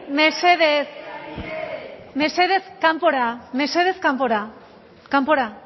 mesedez mesedez kanpora mesedez kanpora kanpora